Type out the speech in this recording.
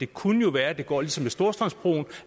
kunne være at det går ligesom med storstrømsbroen